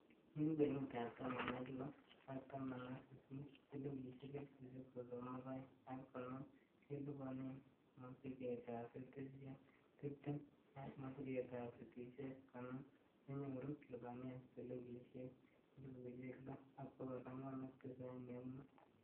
En kwenutab taman ak loo ak taman ak sisit, silingisiek elfusiek sosom ak oeng ak konoom, keliponen mosigetab fitisiek tibtem, ak mosigetab fitisiek konoom konyoru lipanetab silingisiek elfusiek loo, ak bogol angwan ak tisaini ak mut.